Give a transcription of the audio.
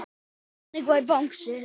Þannig var Bangsi.